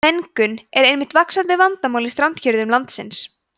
mengun er einnig vaxandi vandamál í strandhéruðum landsins